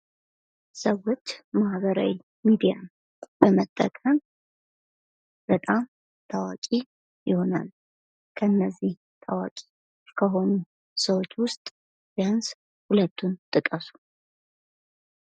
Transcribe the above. ሰዎች ማህበራዊ ሚዲያን በመጠቀም በጣም ታዋቂ የሆናሉ ከነዛም ታዋቂ ከሆኑ ሰዎች ውስጥ ቢያንስ ሁለቱን ጥቀሱ?